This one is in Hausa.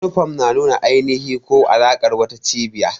Yunifom na nuna ainihi ko alaƙar wata cibiya.